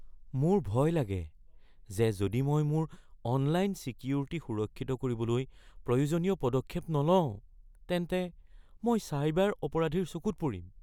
মোৰ ভয় লাগে যে যদি মই মোৰ অনলাইন ছিকিউৰিটী সুৰক্ষিত কৰিবলৈ প্ৰয়োজনীয় পদক্ষেপ নলওঁ, তেন্তে মই চাইবাৰ অপৰাধীৰ চকুত পৰিম।